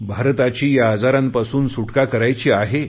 भारताची या आजारांपासून सुटका करायची आहे